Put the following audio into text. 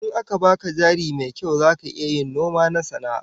In aka baka jari mai kyau zaka iya yin noma na sana'a?